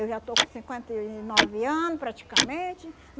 Eu já estou com cinquenta e nove ano, praticamente.